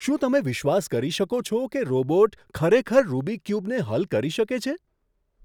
શું તમે વિશ્વાસ કરી શકો છો કે રોબોટ ખરેખર રુબિક ક્યુબને હલ કરી શકે છે?